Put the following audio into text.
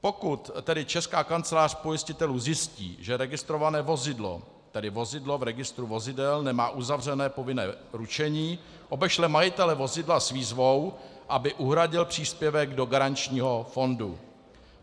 Pokud tedy Česká kancelář pojistitelů zjistí, že registrované vozidlo, tedy vozidlo v registru vozidel, nemá uzavřené povinné ručení, obešle majitele vozidla s výzvou, aby uhradil příspěvek do garančního fondu.